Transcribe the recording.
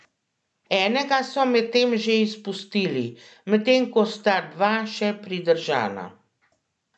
Enega so medtem že izpustili, medtem ko sta dva še pridržana.